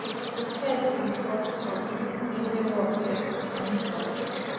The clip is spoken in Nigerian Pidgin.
if chess be sport sport e mean say brain work self fit win trophy